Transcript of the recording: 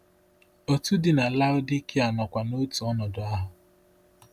Otù dị na Laodikịa nọkwa n’otu ọnọdụ ahụ.